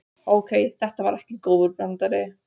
Ókei, þetta var ekki góður brandari.